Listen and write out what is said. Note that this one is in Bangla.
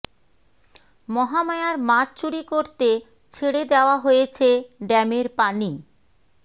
মহামায়ার মাছ চুরি করতে ছেড়ে দেয়া হয়েছে ড্যামের পানি